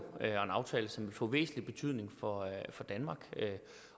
er en aftale som får væsentlig betydning for danmark